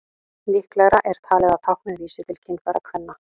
Líklegra er talið að táknið vísi til kynfæra kvenna.